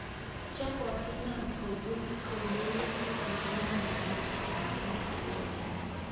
Chekokinap kopur kolele kakinap mateka ndadan BW